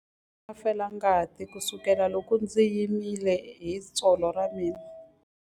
Ndza ha ri na felangati kusukela loko ndzi himile hi tsolo ra mina.